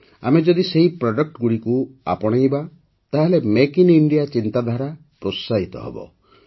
ଆମେ ଯଦି ସେହି ପ୍ରଡକ୍ଟଗୁଡ଼ିକୁ ଆପଣାଇବା ତାହେଲେ ମେକ୍ ଇନ୍ ଇଣ୍ଡିଆ ଚିନ୍ତାଧାରା ପ୍ରୋତ୍ସାହିତ ହେବ